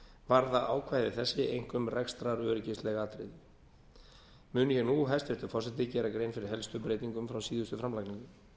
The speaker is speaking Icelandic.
varða ákvæði þessi einkum rekstraröryggisleg atriði mun ég nú hæstvirtur forseti gera grein fyrir helstu breytingum frá síðustu framlagningu